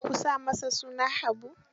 Ku sa masa suna Habu.